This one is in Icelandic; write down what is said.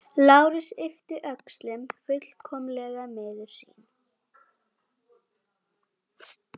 Lárus yppti öxlum, fullkomlega miður sín.